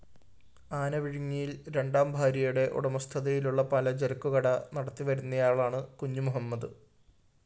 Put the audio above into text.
ആനവിഴുങ്ങിയില്‍ രണ്ടാം ഭാര്യയുടെ ഉടമസ്ഥതയിലുള്ള പലചരക്കുകട നടത്തിവരുന്നയാളാണ് കുഞ്ഞുമുഹമ്മദ്